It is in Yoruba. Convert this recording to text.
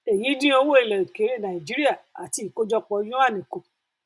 èyí dín owó ilẹ òkèèrè nàìjíríà àti ìkójọpọ yuan kù